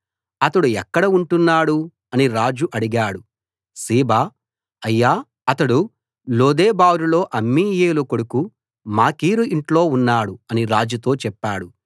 అతడు ఎక్కడ ఉంటున్నాడు అని రాజు అడిగాడు సీబా అయ్యా అతడు లోదెబారులో అమ్మీయేలు కొడుకు మాకీరు ఇంట్లో ఉన్నాడు అని రాజుతో చెప్పాడు